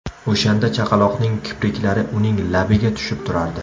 O‘shanda chaqaloqning kipriklari uning labiga tushib turardi.